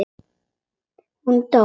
Hún dó!